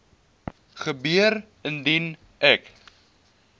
gebeur indien ek